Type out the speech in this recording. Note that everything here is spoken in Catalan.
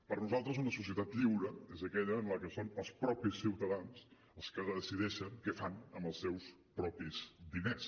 per nosaltres una societat lliure és aquella en la que són els mateixos ciutadans els que decideixen què fan amb els seus propis diners